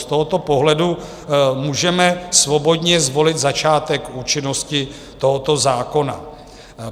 Z tohoto pohledu můžeme svobodně zvolit začátek účinnosti tohoto zákona.